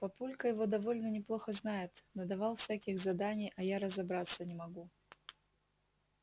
папулька его довольно неплохо знает надавал всяких заданий а я разобраться не могу